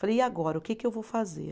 Falei, e agora, o que que eu vou fazer?